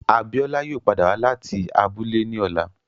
Abiola yoo pada wa lati abule ni ọla